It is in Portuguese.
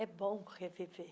É bom reviver.